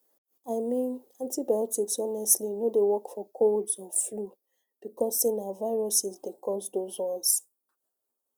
i mean antibiotics honestly no dey work for colds or flu because say na na viruses dey cause those ones